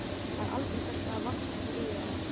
Það er aldrei sagt að það vanti eitthvað í þá.